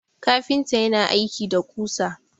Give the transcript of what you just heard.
kafinta yana aiki da kusa